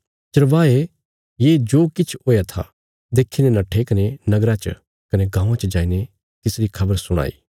चरवाहे ये जो किछ हुया था देखीने नट्ठे कने नगरा च कने गाँवां च जाईने तिसरी खबर सुणाई